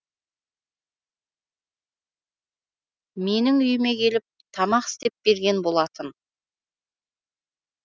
менің үйіме келіп тамақ істеп берген болатын